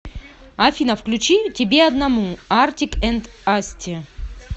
афина включи тебе одному артик энд асти